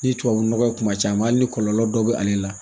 Ni tubabunɔgɔ ye kuma caman a hali ni kɔlɔlɔ dɔ bɛ ale la